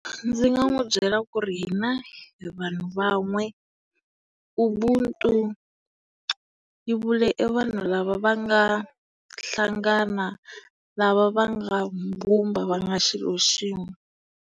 Ndzi nga n'wi byela ku ri hina hi vanhu van'we. UBUNTU yi vula e vanhu lava va nga hlangana, lava va nga mbumba va nga xilo xin'we.